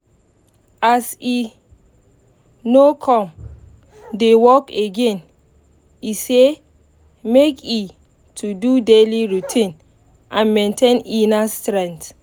as e no come dey work again e say make e to do daily routine and maintain inner strength